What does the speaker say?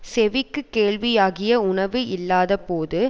செவிக்கு கேள்வியாகிய உணவு இல்லாத போது